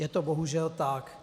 Je to bohužel tak.